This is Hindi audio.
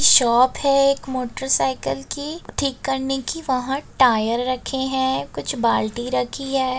शॉप है एक मोटर साइकिल की ठीक करने की | वहाँ टायर रखे हैं कुछ बाल्टी रखी है।